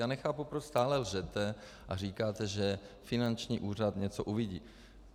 Já nechápu, proč stále lžete a říkáte, že finanční úřad něco uvidí.